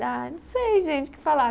Ai, não sei, gente, o que falar.